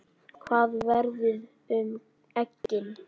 Hvað verður um eggin?